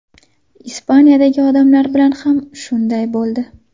Ispaniyadagi odamlar bilan ham shunday bo‘ldi.